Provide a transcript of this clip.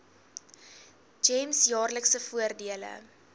gems jaarlikse voordele